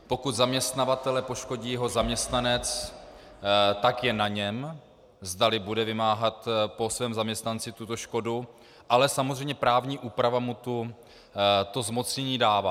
Pokud zaměstnavatele poškodí jeho zaměstnanec, tak je na něm, zdali bude vymáhat po svém zaměstnanci tuto škodu, ale samozřejmě právní úprava mu to zmocnění dává.